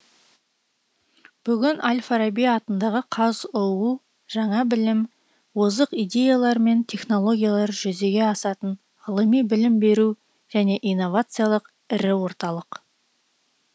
бүгін әл фараби атындағы қазұу жаңа білім озық идеялар мен технологиялар жүзеге асатын ғылыми білім беру және инновациялық ірі орталық